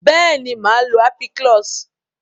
beeni, maa lo ampiclox.